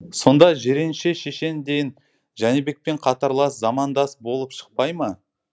сонда жиренше шешен де жәнібекпен қатарлас замандас болып шықпай ма